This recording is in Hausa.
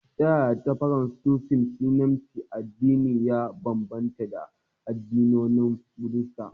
Ta yaya Tooism falsafar Sinanci da addinin ya bambanta da addinin Buddha?